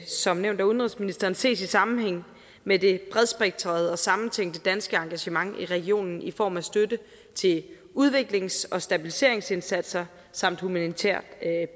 som nævnt af udenrigsministeren ses i sammenhæng med det bredspektrede og sammentænkte danske engagement i regionen i form af støtte til udviklings og stabiliseringsindsatser samt humanitær